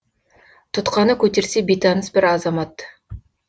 тұтқаны көтерсе бейтаныс бір азамат